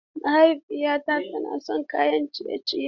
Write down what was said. Mahaifiyata tana son kayan ciye-ciye.